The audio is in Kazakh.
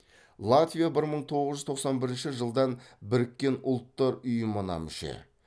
латвия бір мың тоғыз жүз тоқсан бірінші жылдан біріккен ұлттар ұйымына мүше